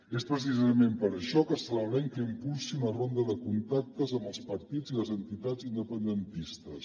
és precisament per això que celebrem que impulsi una ronda de contactes amb els partits i les entitats independentistes